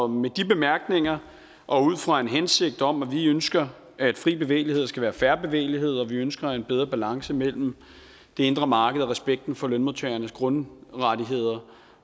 med de bemærkninger og fra en hensigt om at vi ønsker at fri bevægelighed skal være fair bevægelighed og at vi ønsker en bedre balance mellem det indre marked og respekten for lønmodtagernes grundrettigheder